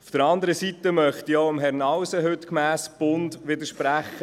Auf der anderen Seite möchte ich auch Herrn Nauses Aussage gemäss «Bund» widersprechen.